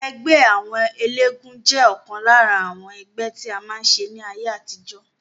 Ẹgbẹ́ àwọn eléégún jẹ́ ọ̀kan lára àwọn ẹgbẹ́ tí a máa ń ṣe ní ayé àtijọ́